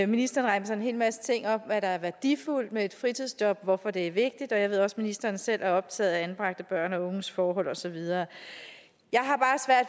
ministeren remser en hel masse ting op om hvad der er værdifuldt ved et fritidsjob og hvorfor det er vigtigt og jeg ved også at ministeren selv er optaget af anbragte børn og unges forhold og så videre